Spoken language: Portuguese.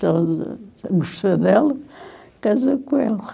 gostou dela, casou com ela.